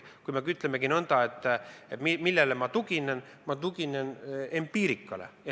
Kui te küsite, millele ma tuginen, siis ma tuginen empiirikale.